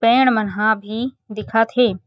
पेड़ मन ह भी दिखत हे।